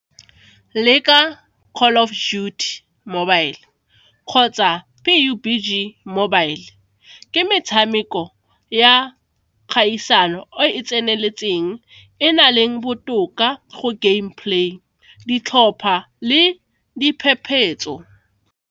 Leka Call of Duty mobile kgotsa mobile ke metshameko ya kgaisano e tseneletseng e na leng botoka go game play, ditlhopha le diphephetso.